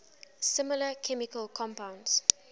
similar chemical compounds